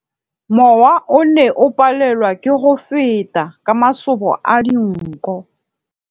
Mowa o ne o palelwa ke go feta ka masoba a dinko.